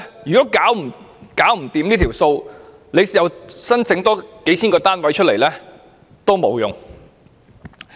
如果政府真的無力監察，即使多興建數千個單位亦沒有用。